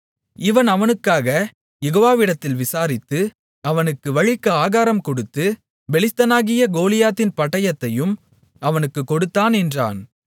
இவன் அவனுக்காகக் யெகோவாவிடத்தில் விசாரித்து அவனுக்கு வழிக்கு ஆகாரம் கொடுத்து பெலிஸ்தனாகிய கோலியாத்தின் பட்டயத்தையும் அவனுக்குக் கொடுத்தான் என்றான்